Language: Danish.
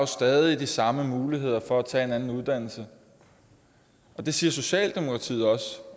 stadig de samme muligheder for at tage en anden uddannelse det siger socialdemokratiet også